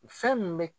Fɛn min bɛ